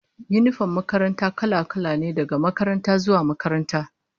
Yinifom din makaranta kala-kala ne, daga makaranta zuwa makaranta